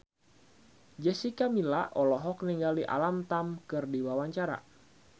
Jessica Milla olohok ningali Alam Tam keur diwawancara